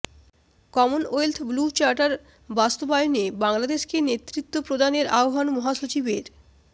Commonwealth blue charter বাস্তবায়নে বাংলাদেশকে নেতৃত্ব প্রদানের আহবান এর মহাসচিবের